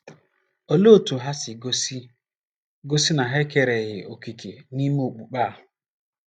Olee otú ha si gosi si gosi na ha ekereghị òkè n’ememe okpukpe a?